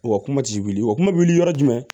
O kuma ti wili o kuma wuli yɔrɔ jumɛn